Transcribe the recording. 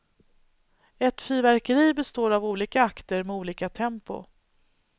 Ett fyrverkeri består av olika akter, med olika tempo.